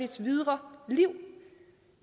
dets videre liv